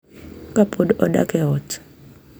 Ka pod odak e ot.